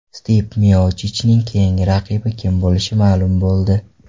Stipe Miochichning keyingi raqibi kim bo‘lishi ma’lum bo‘ldi.